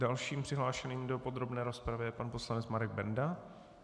Dalším přihlášeným do podrobné rozpravy je pan poslanec Marek Benda.